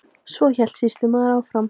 Svo hélt sýslumaður áfram.